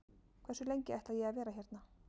Hversu lengi ætla ég að vera hérna?